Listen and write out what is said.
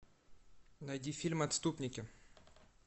найди фильм отступники